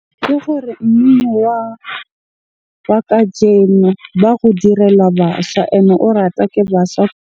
Ke gore mmino wa kajeno ba go direla basha and o ratwa ke baswa.